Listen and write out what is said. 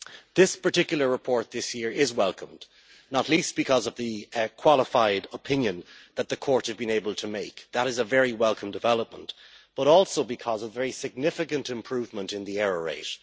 This particular report this year is welcomed, not least because of the qualified opinion that the Court has been able to make that is a very welcome development but also because of a very significant improvement in the error rate.